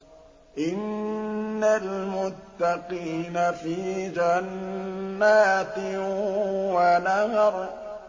إِنَّ الْمُتَّقِينَ فِي جَنَّاتٍ وَنَهَرٍ